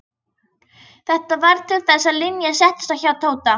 Þetta varð til þess að Linja settist að hjá Tóta.